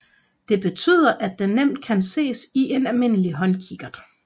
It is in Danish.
Det betyder at den nemt kan ses i en almindelig håndkikkert